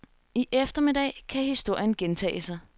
I eftermiddag kan historien gentage sig.